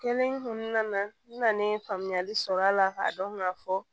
Kelen kun nana n nana ye faamuyali sɔrɔ a la k'a dɔn ka fɔ